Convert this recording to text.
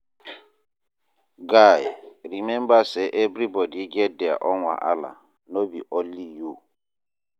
Guy, rememba sey everybodi get their own wahala, no be only you.